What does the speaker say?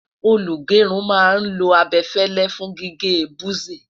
olú gerun má n lo abefele fún gígé buzi